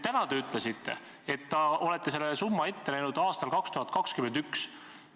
Täna te ütlesite, et olete selle summa ette näinud aastaks 2021.